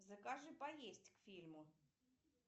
закажи поесть к фильму